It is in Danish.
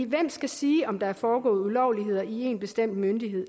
hvem skal sige om der er foregået ulovligheder i en bestemt myndighed